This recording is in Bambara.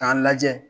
K'a lajɛ